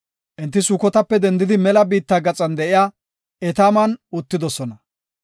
Enti Sukotape dendidi mela biitta gaxan de7iya Etaaman uttidosona.